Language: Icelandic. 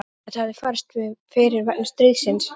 Þetta hefði farist fyrir vegna stríðsins.